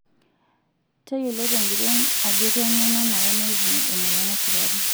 Tayiolo tenguton ajo keng'ae nanare neipimi emoyian esukari.